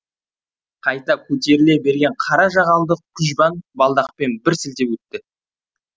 қайта көтеріле берген қара жағалды күжбан балдақпен бір сілтеп өтті